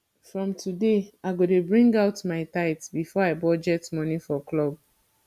from today i go dey bring out my tithe before i budget money for club